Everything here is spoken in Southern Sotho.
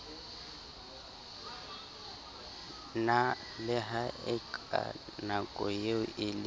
la haeka nakoeo e le